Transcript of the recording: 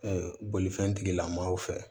bolifɛn tigilamɔgɔw fɛ